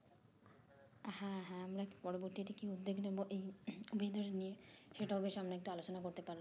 হ্যাঁ হ্যাঁ আমরা পরবর্তী তে কি উদ্যোগ নেবো এই নিয়ে সেটাও বেশ আমরা একটু আলোচনা করতে পারলাম